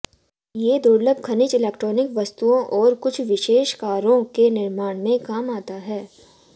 ये दुर्लभ खनिज इलेक्ट्रोनिक वस्तुओं और कुछ विशेष कारों के निर्माण में काम आता है